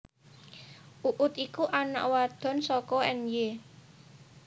Uut iku anak wadon saka Ny